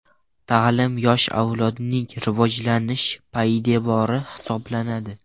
Ta’lim yosh avlodning rivojlanish poydevori hisoblanadi.